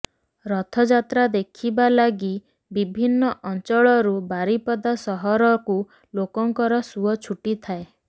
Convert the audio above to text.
ରଥଯାତ୍ରା ଦେଖିବା ଲାଗି ବିଭିନ୍ନ ଅଞ୍ଚଳରୁ ବାରିପଦା ସହରକୁ ଲୋକଙ୍କର ସୁଅ ଛୁଟିଥାଏ